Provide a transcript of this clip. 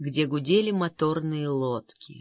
где гудели моторные лодки